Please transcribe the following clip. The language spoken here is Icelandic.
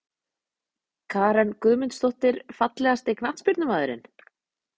Karen Guðmundsdóttir Fallegasti knattspyrnumaðurinn?